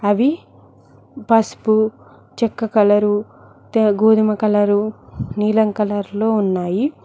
అవి పసుపు చెక్క కలరు గోధుమ కలరు నీలం కలర్ లో ఉన్నాయి.